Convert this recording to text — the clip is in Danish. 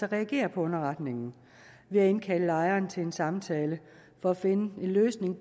at reagere på underretningen ved at indkalde lejeren til en samtale for at finde en løsning